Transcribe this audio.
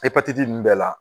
ninnu bɛɛ la